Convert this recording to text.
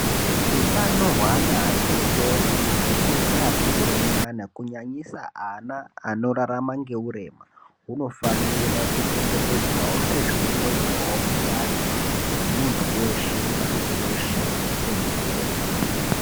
Hutano hwe ana atotori ati kure ne ati kurei nyana ku nyanyisa ana ano rarama nge urema huno fanira ku chengetedzwawo sezvino ngoitwawo utano hwe muntu weshe pasi reshe tenderere.